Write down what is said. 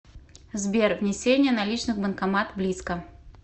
сбер внесение наличных банкомат близко